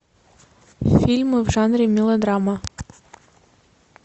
фильмы в жанре мелодрама